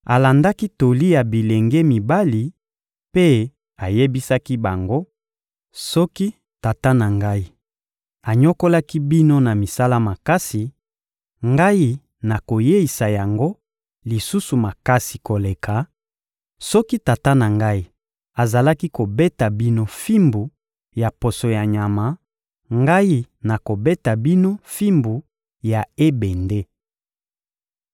alandaki toli ya bilenge mibali mpe ayebisaki bango: Soki tata na ngai anyokolaki bino na misala makasi, ngai nakoyeisa yango lisusu makasi koleka; soki tata na ngai azalaki kobeta bino fimbu ya poso ya nyama, ngai nakobeta bino fimbu ya ebende.